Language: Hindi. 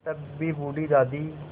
तब भी बूढ़ी दादी